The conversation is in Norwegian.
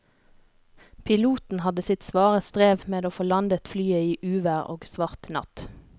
Piloten hadde sitt svare strev med å få landet flyet i uvær og svart natt.